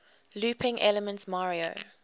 looping elements mario